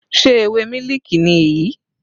Sé ewé mílìkì ni èyí?